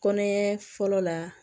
Kɔnɔɲɛ fɔlɔ la